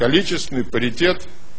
количественный паритет